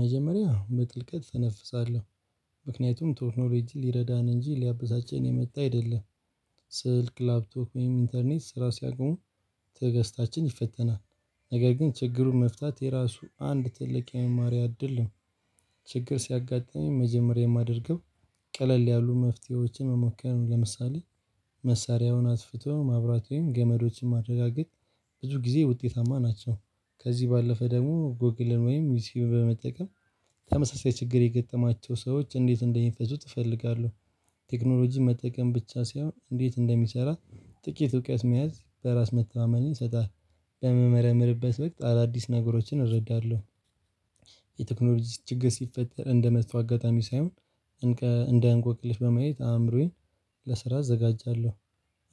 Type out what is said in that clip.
መጀመሪያ በጥልቀት እተነፍሳለሁ ምክንያቱም ቶክኖሪጅ ሊረዳን እንጂ ሊያበሳጭን የመጣ አይደለም። ስልክ ላፕቶክ ወይም ኢንተርኔት ስራ ሲያቆሙ ተገስታችን ይፈተናል። ነገር ግን ችግሩን መፍታት የራሱ አንድ ትልቅ የመማር አይደለም። ችግር ሲያጋጥመኝ መጀመሪያ የማደርገው ቀለል ያሉ መፍትሄዎችን መሞከር ነው። ለምሳሌ መሳሪያውን አጥፍቶ ማብራት ወይም ገመዶችን ማረጋገጥ። ብዙ ጊዜ ውጤታማ ናቸው። ከዚህ ባለፈ ደግሞ ጎግልን ወይም ዩትዩብ በመጠቀም ተመሳሳይ ችግር የገጠማቸው ሰዎች እንዴት እንደሚፈቱት እፈልጋለሁ። ቴክኖሎጂ መጠቀም ብቻ ሳይሆን እንዴት እንደሚሰራ ጥቂት እውቀት መያዝ በራስ መተማመን ይሰጣል። በምመረምርበት ወቅት አዳዲስ ነገሮችን እረዳለሁ። የቴክኖሎጂ ችግር ሲፈጠር እንደ መጥፎ አጋጣሚ ሳይሆን እንደ እንቆቅልሽ በማየት አእምሮዬን ለስራ አዘጋጃለሁ፤